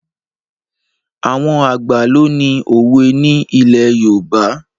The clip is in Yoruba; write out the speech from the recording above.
Àwọn àgbà ló ní òwe ni ilẹ̀ Yorùbá.